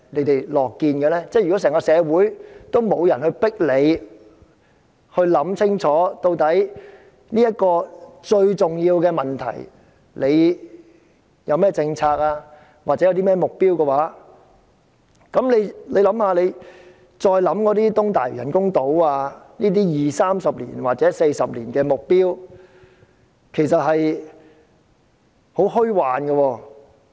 當整個社會都沒人迫使當局想清楚，對這個重要的問題應有何政策及目標的時候，我們再想想東大嶼人工島計劃，便覺得這類20年、30年或40年的目標其實是很虛幻的。